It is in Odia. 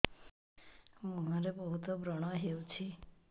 ମୁଁହରେ ବହୁତ ବ୍ରଣ ହଉଛି